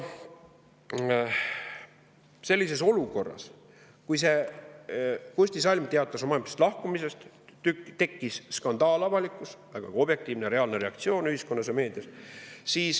Selles olukorras, kus Kusti Salm teatas oma ametist lahkumisest, tekkis avalikkuses skandaal, vägagi objektiivne ja reaalne reaktsioon ühiskonnas ja meedias.